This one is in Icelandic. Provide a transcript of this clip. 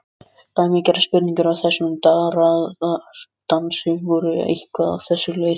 Dæmigerðar spurningar í þessum darraðardansi voru eitthvað á þessa leið